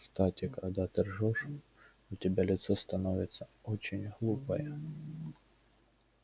кстати когда ты ржёшь у тебя лицо становится очень глупое